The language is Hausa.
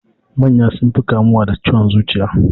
Manya sun fi kamuwa da ciwon zuciya.